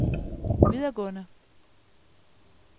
videregående